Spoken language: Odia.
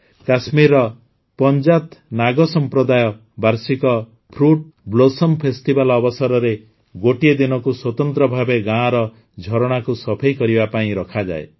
କାଶ୍ମୀରର ପଂଜାଥ ନାଗ ସମ୍ପ୍ରଦାୟ ବାର୍ଷିକ ଫ୍ରୁଟ୍ ବ୍ଲୋସମ୍ ଫେଷ୍ଟିଭାଲ୍ ଅବସରରେ ଗୋଟିଏ ଦିନକୁ ସ୍ୱତନ୍ତ୍ର ଭାବେ ଗାଁର ଝରଣାକୁ ସଫେଇ କରିବା ପାଇଁ ରଖାଯାଏ